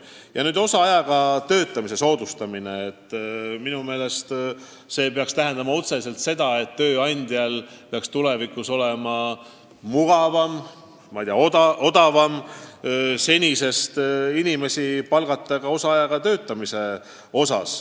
Samuti on tähtis osaajaga töötamise soodustamine, mis peaks tähendama otseselt seda, et tööandjal peaks tulevikus olema mugavam ja ka odavam palgata inimesi ka osaajaga tööle.